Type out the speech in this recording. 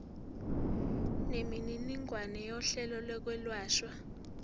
nemininingwane yohlelo lokwelashwa